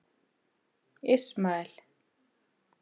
Ismael